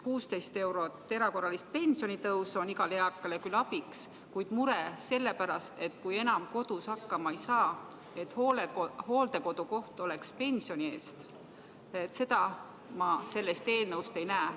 16 eurot erakorralist pensionitõusu on igale eakale küll abiks, kuid muret selle pärast, et kui ise enam kodus hakkama ei saa, siis hooldekodukoht oleks pensioni eest tagatud, seda ma sellest eelnõust ei näe.